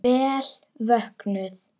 Vel vöknuð!